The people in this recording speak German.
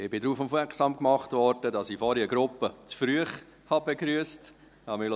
Ich bin darauf aufmerksam gemacht worden, dass ich vorhin eine Gruppe zu früh begrüsst habe.